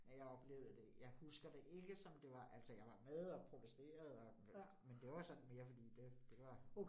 Ja, jeg oplevede det. Jeg husker det ikke som det var altså jeg var med og protesterede og, men det var sådan mere fordi det det var var